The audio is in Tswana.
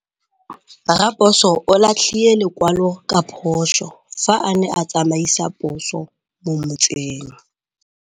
Raposo o latlhie lekwalô ka phosô fa a ne a tsamaisa poso mo motseng.